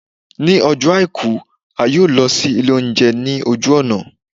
ní Ọjọ aiku, a yọọ lọ si ilé ounjẹ ni ojú ọna.